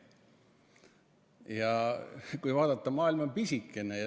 Ja kui vaadata, maailm on pisikene.